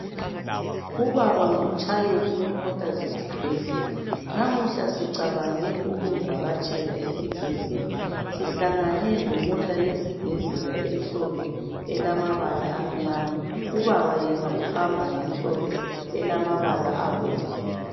Ubaba ngumtshayeli wemota zesibhedlela. Namuhla sicabange ukumvakatshela esibhedlela, sihlangane lemota yesibhedlela emhlophe elambala amnyama. Ubaba yena uhamba ngemhlophe elamabala abomvu.